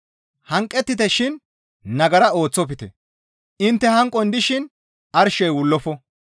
Hanqettite shin nagara ooththofte; intte hanqon dishin arshey wullofo.